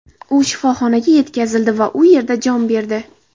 U shifoxonaga yetkazildi va u yerda jon berdi.